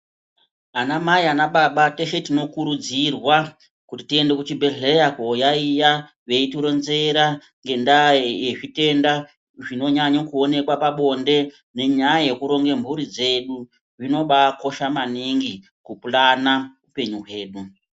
Anamai anababa teshe tinokurudzirwa kuti tiende kuchibhedhlera kooyaiya veitironzera ngenyaya dzezvitenda zvinonyanya kuonekwa pabonde nenyaya yekuronge mhuri dzedu. Zvinobaakosha maningi kupulana upenyu hwedu.